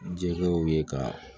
Jɛkɛw ye ka